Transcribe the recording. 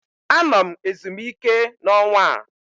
Anọ m ezumike n'ọnwa a